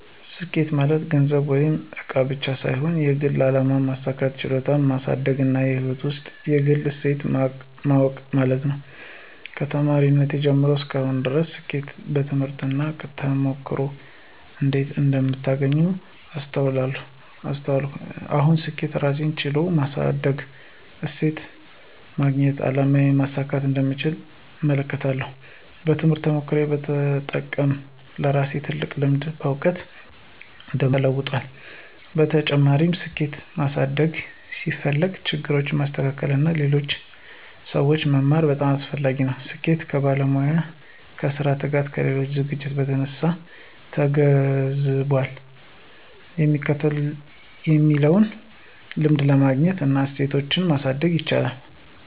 ስኬት ማለት ገንዘብ ወይም እቃ ብቻ ሳይሆን የግል አላማ ማሳካት፣ ችሎታን ማሳደግና ሕይወት ውስጥ የግል እሴት ማወቅ ማለት ነው። ከተማሪነቴ ጀምሮ እስከ አሁን ድረስ ስኬትን በትምህርት እና በተሞክሮ እንዴት እንደምታገኝ አስተውላለሁ። አሁን ስኬትን የራሴን ችሎታ ማሳደግ፣ እሴትን ማግኘትና አላማዬን ማሳካት እንደምቻል እመለከታለሁ። ትምህርትና ተሞክሮ በመጠቀም ለራሴ ትልቅ ልምድና እውቀት እንደማግኘው ተለውጧል። በተጨማሪም፣ ስኬት ማሳደግ ሲፈልግ ችግሮችን ማስተካከል እና ከሌሎች ሰዎች መማር በጣም አስፈላጊ ነው። ስኬት ከባለሙያነት፣ ከራስ ትጋትና ከሌሎች ዝግጅት በተነሳ ተገንዝቧል የሚለውን ልምድ ማግኘት እና እሴትን ማሳደግ ይቻላል።